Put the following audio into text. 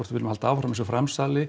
viljum halda áfram þessu framsali